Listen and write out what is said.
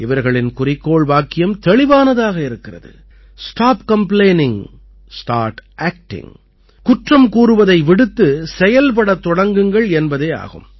இவர்களின் குறிக்கோள் வாக்கியம் தெளிவானதாக இருக்கிறது ஸ்டாப் காம்ப்ளெயினிங் ஸ்டார்ட் ஆக்டிங் குற்றம் கூறுவதை விடுத்து செயல்படத் தொடங்குங்கள் என்பதே ஆகும்